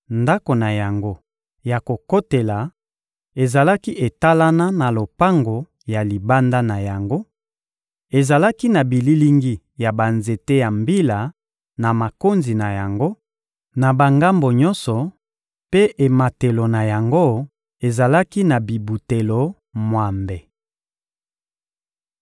Ndako na yango ya kokotela ezalaki etalana na lopango ya libanda na yango; ezalaki na bililingi ya banzete ya mbila na makonzi na yango, na bangambo nyonso, mpe ematelo na yango ezalaki na bibutelo mwambe.